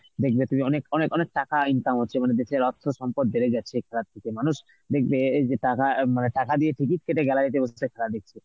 দেখবে তুমি অনেক অনেক অনেক টাকা income হচ্ছে মানে দেশের অর্থ সম্পদ বেড়ে যাচ্ছে খেলার থেকে মানুষ দেখবে এই যে টাকা অ্যাঁ মানে টাকা দিয়ে ticket কেটে gallary তে বসেছে, খেলা দেখছে